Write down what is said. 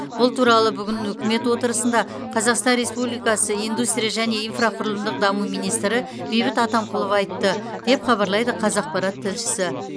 бұл туралы бүгін үкімет отырысында қазақстан республикасы индустрия және инфрақұрылымдық даму министрі бейбіт атамқұлов айтты деп хабарлайды қазақпарат тілшісі